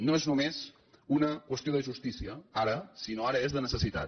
no és només una qüestió de justícia ara sinó que ara és de necessitat